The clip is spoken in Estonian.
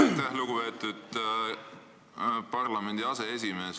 Aitäh, lugupeetud parlamendi aseesimees!